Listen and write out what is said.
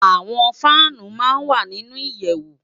Awòn fànú má n wá ninú iyèwú